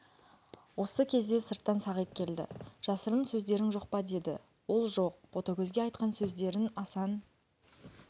сы кезде сырттан сағит келді жасырын сөздерің жоқ па деді ол жоқ ботагөзге айтқан сөздерін асан